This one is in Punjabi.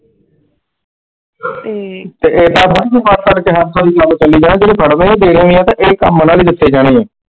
ਤੇ ਇਹ ਸਬ ਇੱਕ ਵਾਰੀ ਗੱਲ ਚਲੀ ਰਹਿਣ ਦੇ ਤੇ ਇਹ ਕੱਮ ਉਹਨਾਂ ਨੂੰ ਦਿੱਤੇ ਜਾਣੇ ਐ।